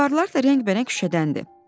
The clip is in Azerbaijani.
Divarlar da rəngbərəng şüşədəndir.